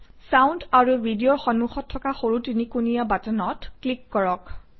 sound and Video অৰ সন্মুখত থকা সৰু তিনিকোণীয়া বাটনত ক্লিক কৰক